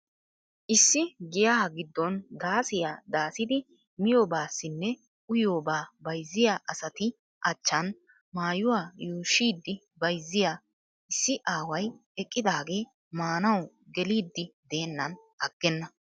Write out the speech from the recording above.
Issi giyaa giddon daasiya daasidi miyoobasnne uyiyoobaa bayizziya asati achchan maayuwa yuushshidi bayizziya issi aaway eqqidaagee maanawu geeliiddi deennan aggenna.